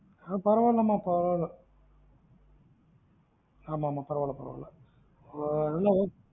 ஆம் பரவாயில்ல மா பரவாயில்லஆமா ஆமா பரவாயில்ல பரவாயில்ல எல்லாம் okay